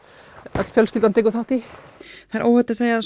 öll fjölskyldan tekur þátt í það er óhætt að segja